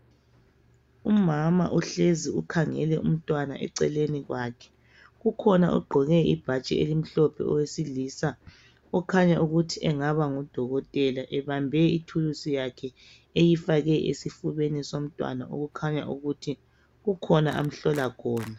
Umama uhlezi ukhangele umntwana eceleni kwakhe kukhona ogqoke ibhatshi elimhlophe owesilisa, okhanya ukuthi engaba ngudokotela ebambe ithulusi yakhe eyifake esifubeni somntwana okukhanya ukuthi kukhona amhlola khona.